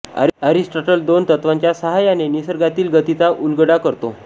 Aristotle दोन तत्त्वांच्या सहाय्याने निसर्गातील गतीचा उलगडा करतो